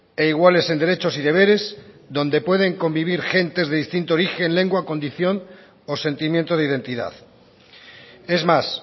e iguales en derechos y deberes donde pueden convivir gentes de distinto origen lengua o condición o sentimiento de identidad es más